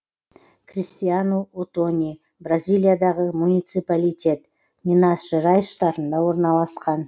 кристиану отони бразилиядағы муниципалитет минас жерайс штатында орналасқан